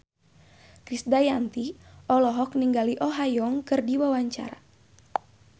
Krisdayanti olohok ningali Oh Ha Young keur diwawancara